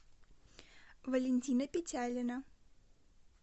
валентина петялина